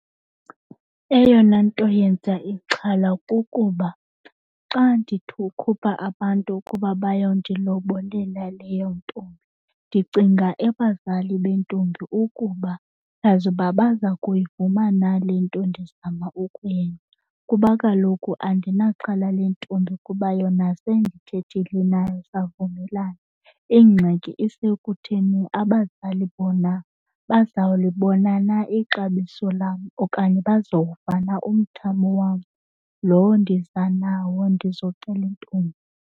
Eyona nto yenza ixhala kukuba xa ndithi ukhupha abantu ukuba bayondilobolela leyo ntombi ndicinga ebazali bentombi ukuba kazi uba baza kuyivuma na le nto ndizama ukuyenza kuba kaloku andinaxhala lentombi kuba yona sendithethile nayo savumelana. Ingxaki isekutheni abazali bona bazawulibona na ixabiso lam okanye bazowuva na umthamo wam lowo ndiza nawo ndizocela intombi.